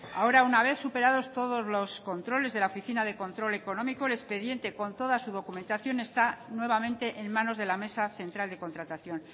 ahora una vez superados todos los controles de la oficina de control económico el expediente con toda su documentación está nuevamente en manos de la mesa central de contratación